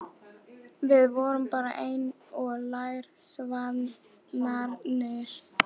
Við vorum bara eins og lærisveinarnir.